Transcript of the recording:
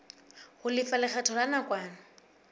ho lefa lekgetho la nakwana